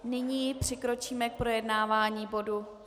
Nyní přikročíme k projednávání bodu